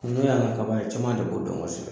kaban ye caman de b'o dɔn kosɛbɛ .